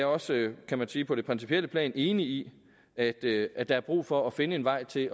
også kan man sige på det principielle plan enig i at i at der er brug for at finde en vej til